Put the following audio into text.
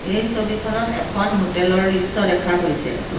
এই ছবিখনত এখন হোটেল ৰ দৃশ্য দেখা গৈছে।